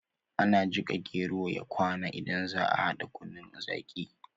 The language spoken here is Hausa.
Ana jika gero ya kwana idan zaa a hada kunun zaqi